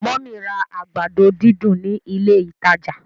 mummy rà àgbàdo dídùn ní ilé ìtàjà.